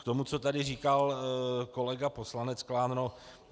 K tomu, co tady říkal kolega poslanec Klán.